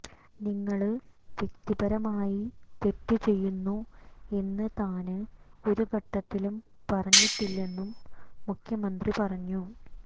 നിങ്ങള് വ്യക്തിപരമായി തെറ്റ് ചെയ്യുന്നു എന്ന് താന് ഒരു ഘട്ടത്തിലും പറഞ്ഞിട്ടില്ലെന്നും മുഖ്യമന്ത്രി പറഞ്ഞു